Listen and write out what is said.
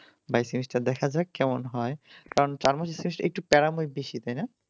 by semester দেখা যাক কেমন হয় কারণ চার মাসের semester একটু প্যারাময় বেশি তাই না